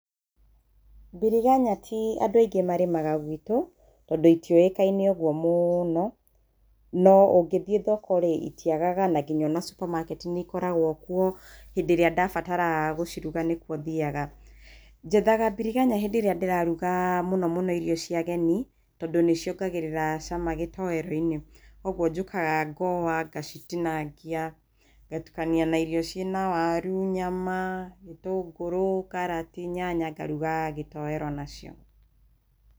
Biriganya ti andũ aingĩ marĩmaga gwitu tondũ itiũikaine ũguo mũno, no ũgĩthie thoko rĩ, itiagaga na nginya supermarket nĩ ĩkoragwo kũo hĩndĩ ĩria ndabatara gũcirũga nĩgũo thiaga. Njethaga biriganya hĩndĩ ĩria ndĩrarũga mũno mũno irio cia agenĩ tondũ niciogagĩrĩra cama gĩtoero-inĩ kogũo njũkaga ngoa, ngacitinangia ngatũkania na irio ciana waru ,nyama, gĩtũngũrũ, karati, nyanya ngaruga gĩtoero nacio.